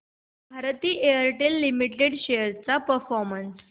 Bharti Airtel limited shares चा performance